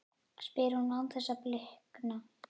spyr hún án þess að blikna.